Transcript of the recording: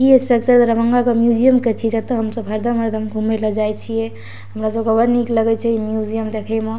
इ अस्ट्रेचर दरभंगा के मिउजियम के छी जता हम सब हरदम हरदम घूमे ले जाय छिए हमरा सबके बड निक लागे छै इ मिउजियम देखे मा --